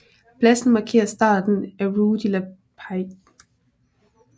Pladsen markerer starten af Rue de la Paix